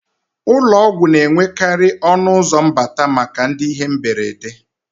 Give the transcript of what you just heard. Ụlọọgwụ na-enwekarì ọnụụzọ mbata maka ndị ihe mberede